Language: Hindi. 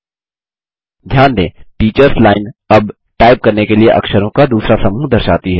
ध्यान दें टीचर्स लाइन अब टाइप करने के लिए अक्षरों का दूसरा समूह दर्शाती है